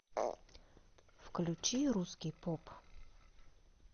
включи русский поп